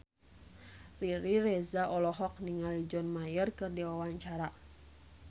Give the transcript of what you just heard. Riri Reza olohok ningali John Mayer keur diwawancara